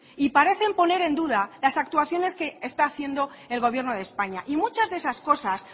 y parecen poner en duda las actuaciones que está haciendo el gobierno de españa y muchas de esas cosas